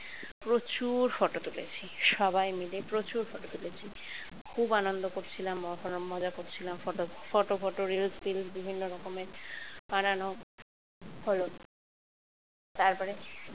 প্রচুর photo তুলেছি সবাই মিলে প্রচুর photo তুলেছি। খুব আনন্দ করছিলাম মজা করছিলাম photo photo photo reels টিলস বিভিন্ন রকমের বানানো হল তারপরে